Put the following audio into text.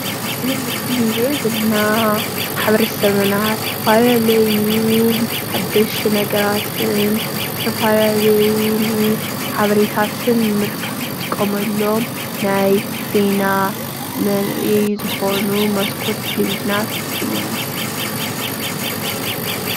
እዚ ምሰሊ እንርእዮ ዘለና ማሕበረሰብና ዝተፈላለዩ ሓደሽቲ ነገራትን ዝተፈላለዩን ሓበሬታትን ንምርካብ አንጥቀመሎም ናይ ዜና መረአይ ዝኮኑ መስኮት ቴሌቪዥናት እዮም።